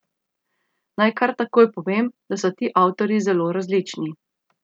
Naj kar takoj povem, da so ti avtorji zelo različni.